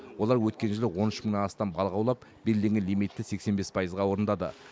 олар өткен жылы он үш мыңнан астам балық аулап белгіленген лимитті сексен бес пайызға орындады